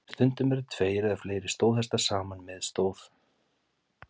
Stundum eru tveir eða fleiri stóðhestar saman með stóð.